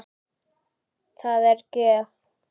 Það er gjöf.